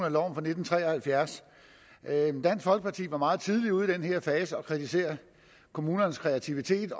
af loven fra nitten tre og halvfjerds dansk folkeparti var meget tidligt ude i den her fase at kritisere kommunernes kreativitet